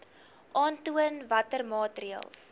aantoon watter maatreëls